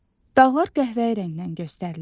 Dağlar qəhvəyi rəngdən göstərilir.